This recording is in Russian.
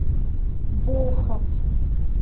волхов